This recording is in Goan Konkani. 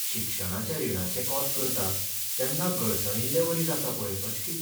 शिक्षणाच्या रिणाचें कोंत करतां तेन्ना गळसणिल्लेवरी जाता पळय अचकीत.